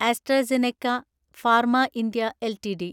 AstraZeneca pharma India LTD